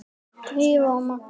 Drífa og Magnús.